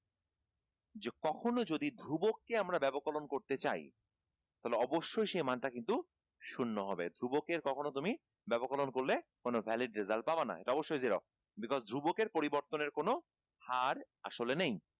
যে কখনো যদি ধ্রুবককে আমরা ব্যবকলন করতে চাই তালে অবশ্যই সে মানটা কিন্তু শূন্য হবে ধ্রুবকের কখনো তুমি ব্যবকলন করলে কোনো valid result পাবা না এটা অবশ্যই zero ধ্রুবকের পরিবর্তনের কোনো হার আসলে নেই